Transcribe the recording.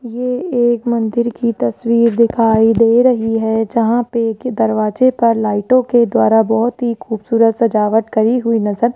ये एक मंदिर की तस्वीर दिखाई दे रही है जहां पे के दरवाजे पर लाइटों के द्वारा बहुत ही खूबसूरत सजावट करी हुई नजर --